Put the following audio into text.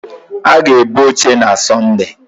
Ha ga-ebu oche na Sọnde.